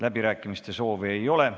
Läbirääkimiste soovi ei ole.